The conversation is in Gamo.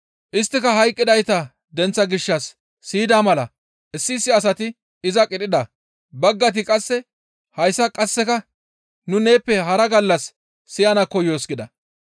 Isttika hayqqidayta denththaa gishshas siyida mala issi issi asati iza qidhida; baggayti qasse, «Hayssa qasseka nu neeppe hara gallas siyana koyoos» gida.